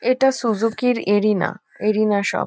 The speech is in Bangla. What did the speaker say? এটা সুজুকি -র এরিনা এরিনা শপ ।